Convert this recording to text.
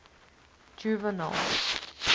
juvenal